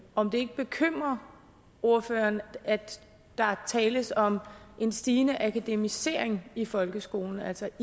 om det ikke bekymrer ordføreren at der tales om en stigende akademisering i folkeskolen altså